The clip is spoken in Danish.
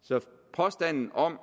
så påstanden om